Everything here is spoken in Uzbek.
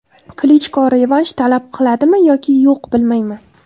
Klichko revansh talab qiladimi yoki yo‘q bilmayman.